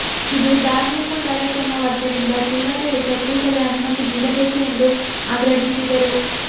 ಇದು ಧಾರ್ಮಿಕ ಕಾರ್ಯಕ್ರಮವಾದ್ದರಿಂದ ಜಿಲ್ಲಾಡಳಿತ ಕೂಡಲೇ ಅನುಮತಿ ನೀಡಬೇಕು ಎಂದು ಆಗ್ರಹಿಸಿದರು